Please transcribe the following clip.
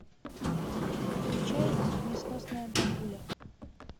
включай несносная бабуля